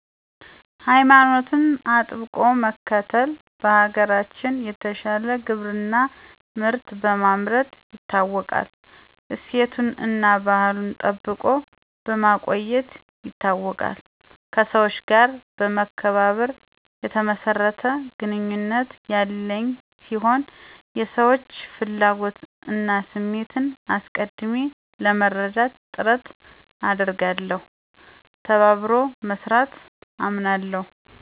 ሀይማኖቱን አጥብቆ መከተል, በሀገራችን የተሻለ ግብርና ምርት በማምረት ይታወቃል ,እሴቶቱና አና ባህሉን ጠብቆ በማቆየት ይታወቃል ,ከሠወች ጋር መከባበር የተመሰረተ ግንኙነት ያለኝ ሲሆን የሰወች ፍላጎት እና ስሜት አሰቀድሜ ለመረዳት ጥረት አደርጋለሁ ,ተባበሮ መስራት አምናለሁ